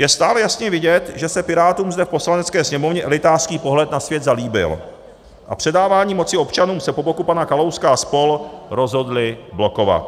Je stále jasně vidět, že se Pirátům zde v Poslanecké sněmovně elitářský pohled na svět zalíbil a předávání moci občanům se po boku pana Kalouska a spol. rozhodli blokovat.